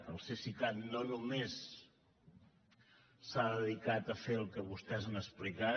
el cesicat no només s’ha dedicat a fer el que vostès han explicat